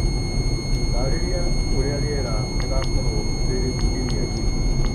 taarĩria ũrĩa rĩera rĩgookorũo rĩrĩ kiumia gĩkĩ